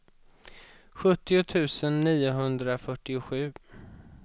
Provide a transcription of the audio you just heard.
sjuttio tusen niohundrafyrtiosju